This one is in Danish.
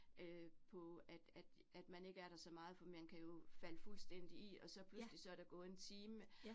Øh på at at at man ikke er der så meget, for man kan jo falde fuldstændig i, og så pludselig, så der gået en time